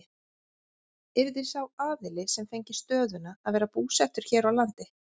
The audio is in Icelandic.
Yrði sá aðili sem fengi stöðuna að vera búsettur hér á landi?